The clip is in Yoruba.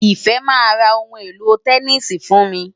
Ìfẹ́ máa ra ohun èlò tẹníìsì fún mi.